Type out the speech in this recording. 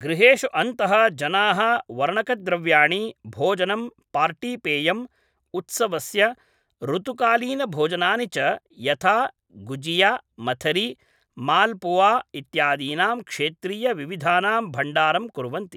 गृहेषु अन्तः जनाः वर्णकद्रव्याणि, भोजनं, पार्टीपेयम्, उत्सवस्य ऋतुकालीनभोजनानि च यथा गुजिया, मथरी, मालपुआ इत्यादीनां क्षेत्रीयविविधानां भण्डारं कुर्वन्ति ।